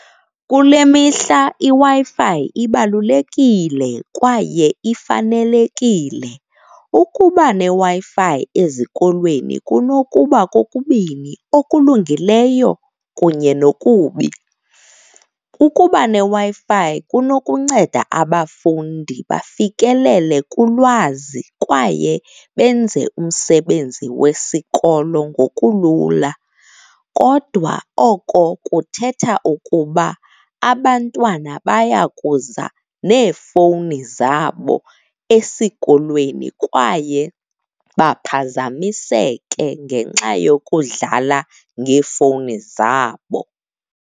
Kule mihla iWi-Fi ibalulekile kwaye ifanelekile. Ukuba neWi-Fi ezikolweni kunokuba kokubini, okulungileyo kunye nokui. Ukuba neWi-Fi kunokunceda abafundi bafikelele kulwazi kwaye benze umsebenzi wesikolo ngokulula. Kodwa oko kuthetha ukuba abantwana baya kuza neefowuni zabo esikolweni kwaye baphazamiseke ngenxa yokudlala ngeefowuni zabo.